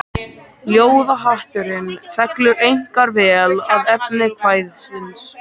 Ljóðahátturinn fellur einkar vel að efni kvæðisins.